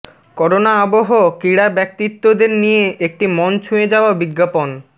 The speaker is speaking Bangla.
করোনা আবহ ক্রীড়া ব্যক্তিত্বদের নিয়ে একটি মন ছুঁয়ে যাওয়া বিজ্ঞাপন